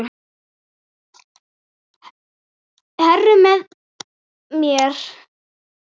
Heru með mér.